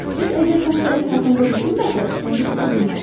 Siz əgər xəstəlik haqqında düşünməsəniz, onu tuta bilməzsiniz.